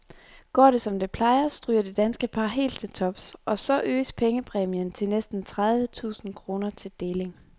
Går det som det plejer, stryger det danske par helt til tops, og så øges pengepræmien til næsten tredive tusind kroner til deling.